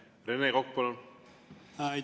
Rene Kokk, palun!